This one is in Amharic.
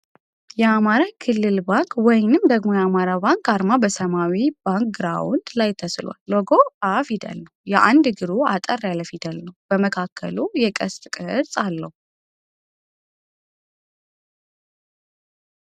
የአማራ ክልል ባንክ ወይንም ደግሞ የአማራ ባንክ አርማ በሰማያዊ ባክ ግራውንድ ላይ ተስሏል ። ሎጎው አ ፊደል ነው። የአንድ እግሩ አጠር ያለ ፊደል ነው ። በመካከሉ የቀስት ቅርጽ አለው።